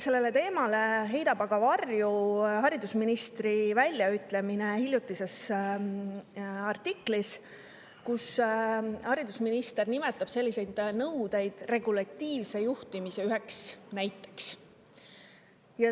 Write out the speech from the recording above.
Sellele teemale heidab aga varju haridusministri väljaütlemine ühes hiljutises artiklis, kus ta nimetab selliseid nõudeid "regulatiivse juhtimise" üheks näiteks.